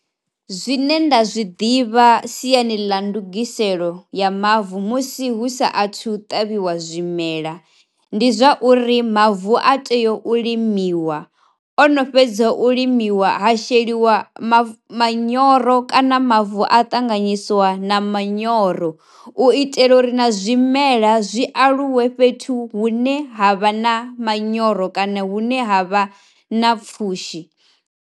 Zwine nda zwi ḓivha siyani ḽa ndungiselo ya mavu musi hu saathu u tavhiwa zwimela ndi zwa uri mavu a tea u limiwa. Osheliwa no fhedza u limiwa ha manyoro kana mavu a ṱanganyisiwa na manyoro u itela uri na zwimela zwi aluwe fhethu hune ha vha na manyoro kana hune ha vha na pfhushi.